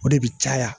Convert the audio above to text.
O de bi caya